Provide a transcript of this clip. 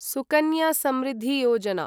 Sukanya Samriddhi Yojana